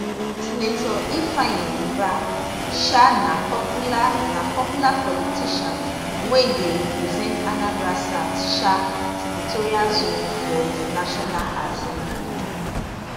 senator ifeanyi ubah um na popular na popular politician wey dey represent anambra south um senatorial zone for di national assembly